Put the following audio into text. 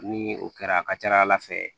Ni o kɛra a ka ca ala fɛ